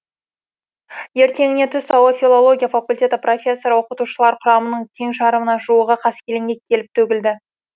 ертеңіне түс ауа филология факультеті профессор оқытушылар құрамының тең жарымына жуығы қаскелеңге келіп төгілді